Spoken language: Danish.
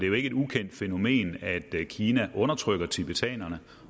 jo ikke et ukendt fænomen at kina undertrykker tibetanerne